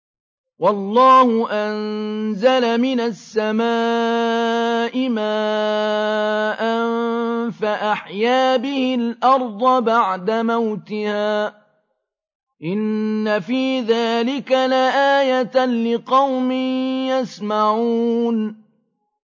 وَاللَّهُ أَنزَلَ مِنَ السَّمَاءِ مَاءً فَأَحْيَا بِهِ الْأَرْضَ بَعْدَ مَوْتِهَا ۚ إِنَّ فِي ذَٰلِكَ لَآيَةً لِّقَوْمٍ يَسْمَعُونَ